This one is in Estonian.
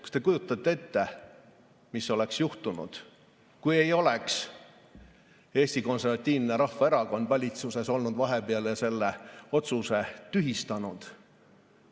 Kas te kujutate ette, mis oleks juhtunud, kui ei oleks Eesti Konservatiivne Rahvaerakond vahepeal valitsuses olnud ja selle otsuse tühistanud?